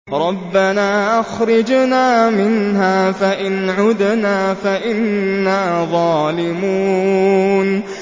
رَبَّنَا أَخْرِجْنَا مِنْهَا فَإِنْ عُدْنَا فَإِنَّا ظَالِمُونَ